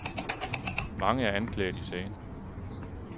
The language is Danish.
Mange er anklaget i sagen.